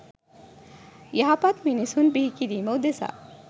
යහපත් මිනිසුන් බිහිකිරීම උදෙසා